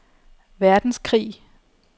verdenskrig